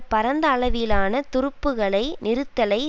பரந்த அளவிலான துருப்புக்களை நிறுத்தலை